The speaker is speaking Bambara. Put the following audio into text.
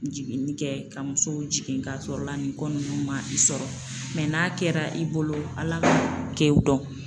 Jiginni kɛ ka musow jigin k'a sɔrɔ la nin ko nunnu ma i sɔrɔ n'a kɛra i bolo Ala ka kɛw don